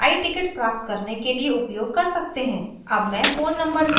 आप इस address को i tickets प्राप्त करने के लिए उपयोग कर सकते हैं